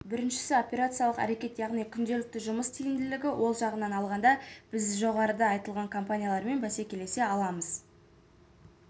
біріншісі операциялық әрекет яғни күнделікті жұмыс тиімділігі ол жағынан алғанда біз жоғарыда айтылған компаниялармен бәсекелесе аламыз